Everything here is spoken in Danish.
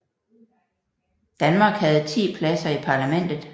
Danmark havde 10 pladser i parlamentet